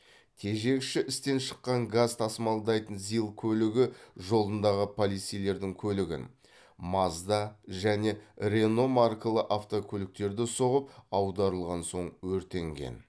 тежегіші істен шыққан газ тасымалдайтын зил көлігі жолындағы полицейлердің көлігін мазда және рено маркалы автокөліктерді соғып аударылған соң өртенген